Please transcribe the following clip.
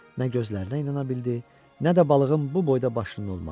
Nə gözlərinə inana bildi, nə də balığın bu boyda başının olmağına.